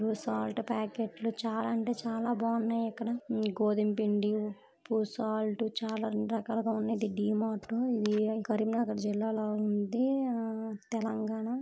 Salt ప్యాకెట్లు చాలా అంటే చాలా బాగున్నాయి ఇక్కడ ఈ గోధుమపిండి ఉప్పు సాల్టు చాలా అన్ని రకాలుగా ఉన్నాయి. ఇది డీమార్ట్ కరీంనగర్ జిల్లాలో ఉంది ఆ తెలంగాణ